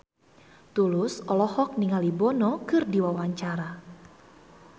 Tulus olohok ningali Bono keur diwawancara